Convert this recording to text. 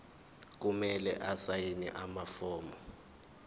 kumele asayine amafomu